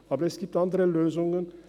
Aber es gibt andere Lösungen.